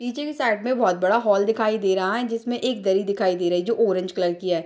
नीचे की साइड में बहोत बड़ा हॉल दिखाई दे रहा है जिसमें एक दरी दिखाई दे रही जो ऑरेंज कलर की है।